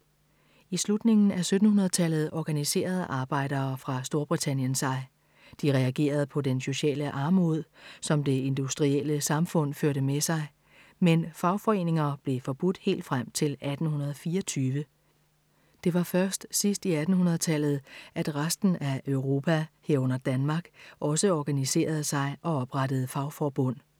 I slutningen af 1700-tallet organiserede arbejdere fra Storbritannien sig. De reagerede på den sociale armod, som det industrielle samfund førte med sig, men fagforeninger blev forbudt helt frem til 1824. Det var først sidst i 1800-tallet, at resten af Europa, herunder Danmark, også organiserede sig og oprettede fagforbund.